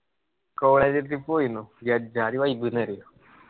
college trip ക്ക് പോയിരുന്നു. ഏജ്‌ജാതി vibe ന്ന് അറിയോ.